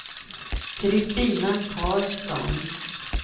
Kristina Karlsson